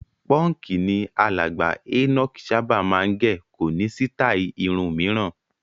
Pọ́ǹkì ni alàgbà Enoch máa ń sábà gẹ̀, kò ní sítáì irun mìíràn.